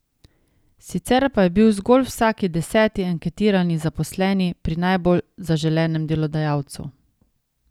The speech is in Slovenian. Sicer pa je bil zgolj vsaki deset anketirani zaposleni pri najbolj zaželenem delodajalcu.